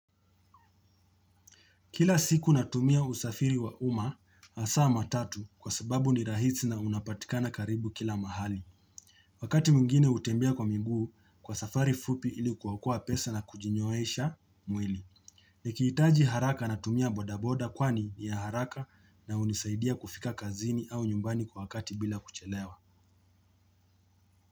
Kila siku natumia usafiri wa uma hasa matatu kwa sababu ni rahisi na unapatikana karibu kila mahali. Wakati mwingine hutembia kwa miguu kwa safari fupi ilikokoa pesa na kujinyoesha mwili. Nikihitaji haraka natumia bodaboda kwani ni ya haraka na hunisaidia kufika kazini au nyumbani kwa wakati bila kuchelewa.